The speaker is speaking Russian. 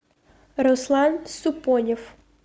руслан супонев